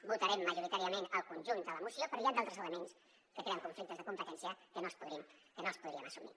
votarem majoritàriament el conjunt de la moció però hi han altres elements que creen conflictes de competència que no els podríem assumir